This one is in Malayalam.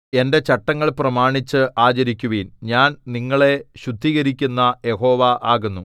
എന്റെ ചട്ടങ്ങൾ പ്രമാണിച്ച് ആചരിക്കുവിൻ ഞാൻ നിങ്ങളെ ശുദ്ധീകരിക്കുന്ന യഹോവ ആകുന്നു